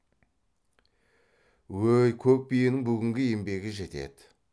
өй көк биенің бүгінгі еңбегі жетеді